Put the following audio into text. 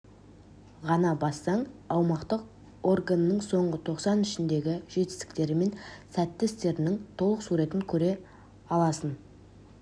ғана бассаң аумақтық органының соңғы тоқсан ішіндегі жетістіктері мен сәтті істерінің толық суретін көре аласын